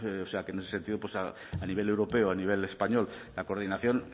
o sea que en ese sentido pues a nivel europeo a nivel español la coordinación